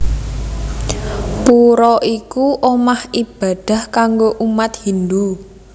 Pura iku omah ibadah kanggo umat Hindu